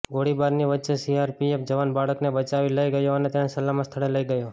ગોળીબારની વચ્ચે સીઆરપીએફ જવાન બાળકને બચાવી લઈ ગયો અને તેને સલામત સ્થળે લઈ ગયો